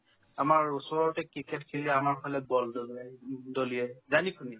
আমাৰ ওচৰতে cricket খেলি আমাৰ ফালে ball দলিয়াই উম দলিয়াই জানি শুনি